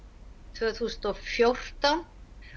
tvö þúsund og fjórtán